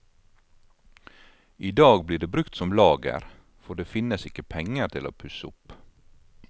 I dag blir det brukt som lager, for det finnes ikke penger til å pusse opp.